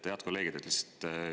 Head kolleegid!